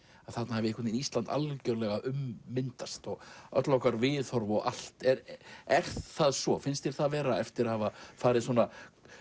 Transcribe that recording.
að þarna hafi Ísland ummyndast öll okkar viðhorf og allt er er það svo finnst þér það vera eftir að hafa farið svona